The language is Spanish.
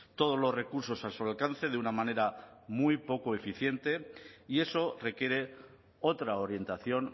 todos los recursos a su alcance de una manera muy poco eficiente y eso requiere otra orientación